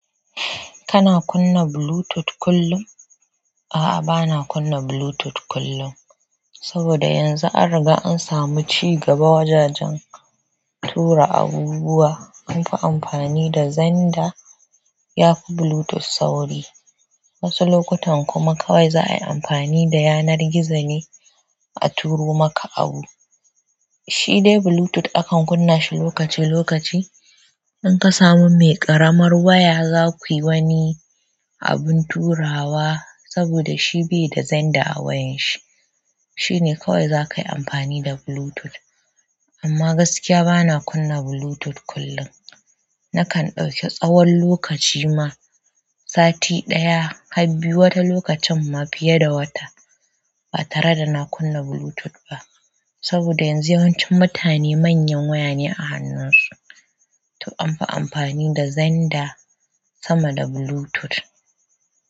Kana kunna Bluetooth kullum? A'a, bana kunna Bluetooth kullum. Saboda yanzu an riga an samu ci gaba wajajen tura abubuwa. Anfi amfani da zanda yafi Bluetooth sauri. Wasu lokutan kuma kawai za a yi amfani da yanar gizo ne a turo maka abu. Shi dai Bluetooth akan kunna shi lokaci-lokaci. Inkasamu mai ƙaramar waya zakuyi abin turawa saboda shi baida xender a wayarshi shi ne kawai za ka yi amfani da Bluetooth. Amma gaskiya bana kunna Bluetooth kullum. Nakan ɗauki tsawon lokaci ma, sati ɗaya har biyu wata lokucin ma fiye da wata, ba tare da na kunna Bluetooth ba. Saboda yanzu yawancin mutane manyan waya ne a hannunsu, to anfi amfani da zanda sama da Bluetooth.